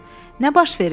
Nə baş verib?